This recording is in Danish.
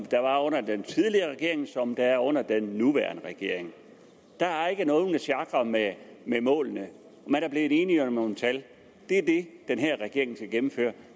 der var under den tidligere regering og som er under den nuværende regering der er ikke nogen der sjakrer med målene man er blevet enige om nogle tal det er det den her regering skal gennemføre